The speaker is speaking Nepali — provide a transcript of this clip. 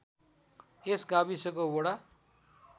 यस गाविसको वडा